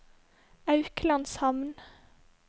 Auklandshamn